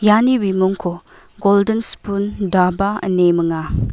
iani bimingko goldin spun daba ine minga.